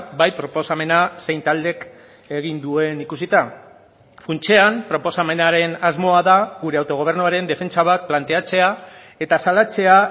bai proposamena zein taldek egin duen ikusita funtsean proposamenaren asmoa da gure autogobernuaren defentsa bat planteatzea eta salatzea